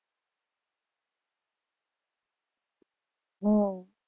હમ